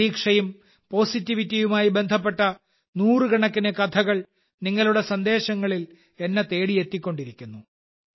പ്രതീക്ഷയും പോസിറ്റിവിറ്റിയുമായി ബന്ധപ്പെട്ട നൂറുകണക്കിന് കഥകൾ നിങ്ങളുടെ സന്ദേശങ്ങളിൽ എന്നെ തേടിയെത്തിക്കൊണ്ടിരിക്കുന്നു